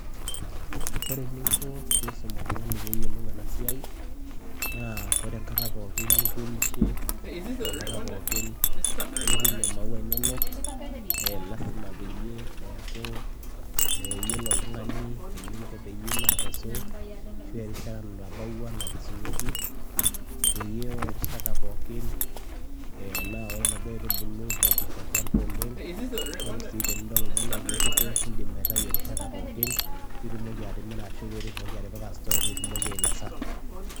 Kore eninko piisum oltung'ani pee eyolou ena siai naa ore enkata pookin nituunishe ashu enkata pookin nituuno maua inonok e lazima peyie eeku eyiolo oltung'ani eninko peyie ilo akesu ashu erishata natabawua nakesunyeki peyie ore erishata pookin naa ore naduo aitubulu mebik tolchamba oleng'. Keeku sii tenidol oltung'ani ajo ekuto niindim aitayu erishata pookin piitumoki atimira ashu piitumoki atipika store piitumoki ainosa.